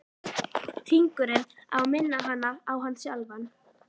Hringurinn á að minna hana á hann sjálfan.